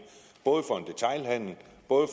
både